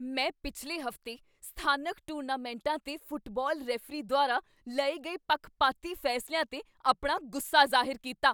ਮੈਂ ਪਿਛਲੇ ਹਫ਼ਤੇ ਸਥਾਨਕ ਟੂਰਨਾਮੈਂਟਾਂ 'ਤੇ ਫੁੱਟਬਾਲ ਰੈਫਰੀ ਦੁਆਰਾ ਲਏ ਗਏ ਪੱਖਪਾਤੀ ਫੈਸਲਿਆਂ 'ਤੇ ਆਪਣਾ ਗੁੱਸਾ ਜ਼ਾਹਿਰ ਕੀਤਾ।